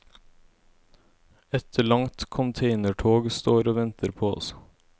Et langt containertog står og venter på oss.